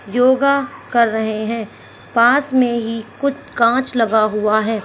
योगा कर रहे है पास में ही कुछ कांच लगा हुआ है।